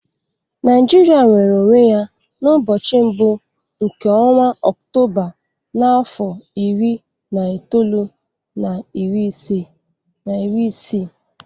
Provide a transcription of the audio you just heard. Naijiria nwere onwe ya n'ụbọchị mbụ nke ọnwa Ọktoba n'afọ iri na itoolu na iri isii.